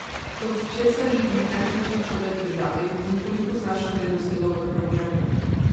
Od česa živi najvplivnejši človek v državi in koliko znaša vrednost njegovega premoženja?